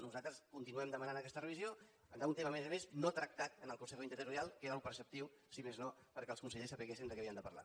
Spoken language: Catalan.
nosaltres continuem demanant aquesta revisió d’un tema a més a més no tractat en el consejo interterritorial que era el preceptiu si més no perquè els consellers sabessin de què havien de parlar